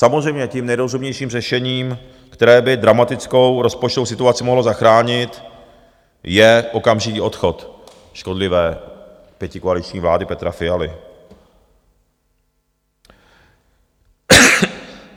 Samozřejmě tím nejrozumnějším řešením, které by dramatickou rozpočtovou situaci mohlo zachránit, je okamžitý odchod škodlivé pětikoaliční vlády Petra Fialy.